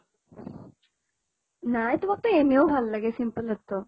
নাই তোমাকতো এনেও ভাল লাগে simple তো